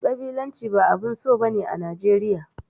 Ƙabilanci ba abun so ba ne a Najeriya.